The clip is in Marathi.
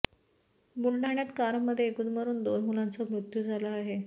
बुलढाण्यात कारमध्ये गुदमरुन दोन मुलांचा मृत्यू झाला आहे